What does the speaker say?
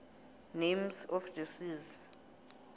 names of the seas